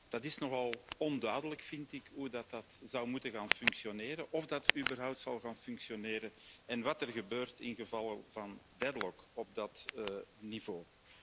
Het is nogal onduidelijk, vind ik, hoe dat zou moeten gaan functioneren, of dat überhaupt zal gaan functioneren en wat er gebeurt in geval van een deadlock op dat niveau.